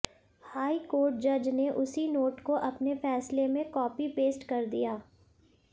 high court जज ने उसी नोट को अपने फैसले में कॉपी पेस्ट कर दिया